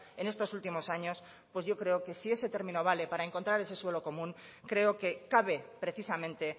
en estos últimos años pues yo creo que si ese término vale para encontrar ese suelo común creo que cabe precisamente